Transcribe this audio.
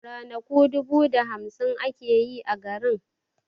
Ranaku dubu da hamsin ake yi a garin